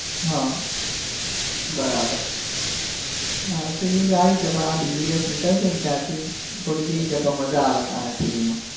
હમ બરાબર rcb સારી છે પણ ડિવિલીઓઉસ નીકળી ગયો ને ત્યાર થી થોડી એ છે પણ મજા આવે છે rcb માં.